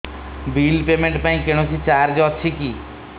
bill payment ପାଇଁ କୌଣସି charge ଅଛି କି